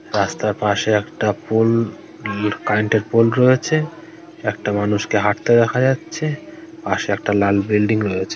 রাস্তার পাশে একটা পোল কার্রেন্টে -এর পোল রয়েছে একটা মানুষকে হাঁটতে দেখা যাচ্ছে পাশে একটা লাল বিল্ডিং রয়েছে।